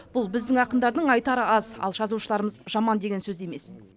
бұл біздің ақындардың айтары аз ал жазушыларымыз жаман деген сөз емес